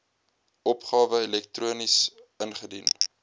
opgawe elektronies ingedien